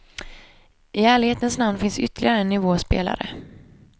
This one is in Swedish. I ärlighetens namn finns ytterligare en nivå spelare.